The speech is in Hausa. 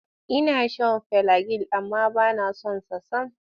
Ina shan filagil amma ba na son sa sam.